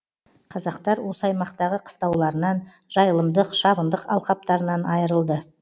қазақтар осы аймақтағы қыстауларынан жайылымдық шабындық алқаптарынан айырылды